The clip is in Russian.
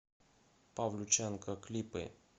павлюченко клипы